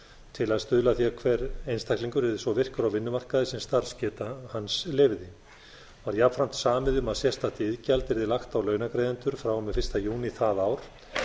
til að stuðla að því að hver einstaklingur yrði svo virkur á vinnumarkaði sem starfsgeta hans leyfði var jafnframt samið um að sérstakt iðgjald yrði lagt á launagreiðendur frá og með fyrsta júní það ár